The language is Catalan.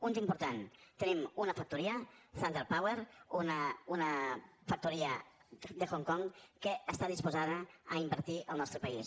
un d’important tenim una factoria thunder power una factoria de hong kong que està disposada a invertir en el nostre país